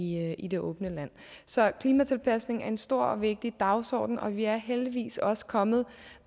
i i det åbne land så klimatilpasning er en stor og vigtig dagsorden og vi er heldigvis også kommet